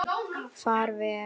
Far vel.